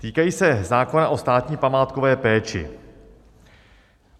Týkají se zákona o státní památkové péči.